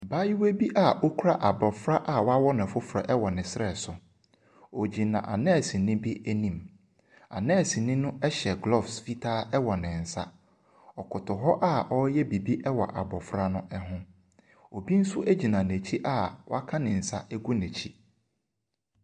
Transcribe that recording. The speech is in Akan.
Abaayewa bi a ɔkura abofra a wɔawo no foforɔ wɔ ne serɛ so. Ɔgyina anursenii bi anim. Anursenii no ɛhyɛ gloves ɛwɔ ne nsa. Ɔkoto hɔ a ɔreyɛ biribi wɔ abofra no ho. Obi nso gyina n'akyi a woaka ne nsa agu n'akyi.